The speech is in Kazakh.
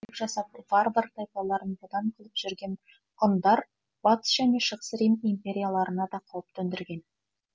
жасап варвар тайпаларын бодан қылып жүрген ғұндар батыс және шығыс рим империяларына да қауіп төндірген